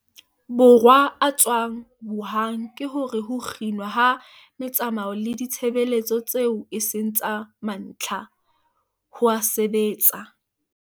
Borwa a tswang Wuhan ke hore ho kginwa ha metsamao le ditshebeletso tseo e seng tsa mantlha, ho a sebetsa.